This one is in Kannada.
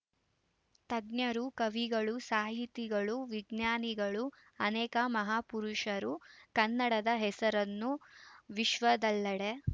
ತಜ್ಞರು ಕವಿಗಳು ಸಾಹಿತಿಗಳು ವಿಜ್ಞಾನಿಗಳು ಅನೇಕ ಮಹಾಪುರುಷರು ಕನ್ನಡದ ಹೆಸರನ್ನು ವಿಶ್ವದಲ್ಲೆಡೆ